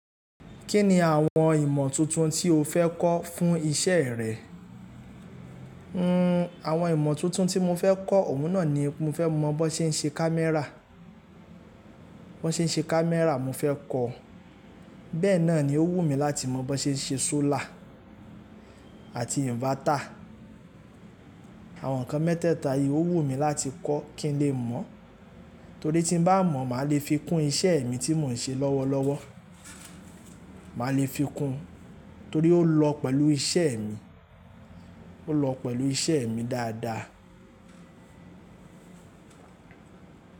Kí ni àwọn ìmọ̀ tuntun tí o fẹ́ kọ́ fún iṣẹ́ rẹ? Hmm, àwọn ìmọ̀ tuntun tí mo fẹ́ kọ́, òun náà ni mo fẹ́ mọ bí wọ́n ṣe ń ṣe camera. Bí wọ́n ṣe ń ṣe camera mo fẹ́ kọ́, bẹ́ẹ̀ náà ni ó wù mí láti mọ bí wọ́n ṣe ń ṣe solar àti inverter. Àwọn nǹkan mẹ́tẹ̀ẹ̀ta yìí ó wù mí láti kọ́ kí n lè mọ̀. Torí tín bá mọ̀, màá le fi kún iṣẹ́ mi tí mò ń ṣe lọ́wọ́lọ́wọ́. Màá le fi kún torí ó lọ pẹ̀lú iṣẹ́ mi, ó lọ pẹ̀lú iṣẹ́ mi dáadáa.